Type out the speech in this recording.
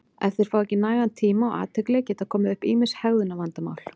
Ef þeir fá ekki nægan tíma og athygli geta komið upp ýmis hegðunarvandamál.